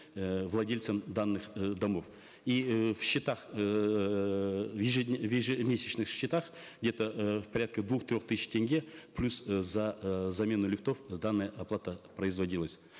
э владельцам данных э домов и э в счетах эээ в в ежемесячных счетах где то э порядка двух трех тысяч тенге плюс э за э замену лифтов данная оплата производилась